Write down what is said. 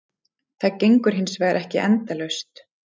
Það gengur hins vegar ekki endalaust.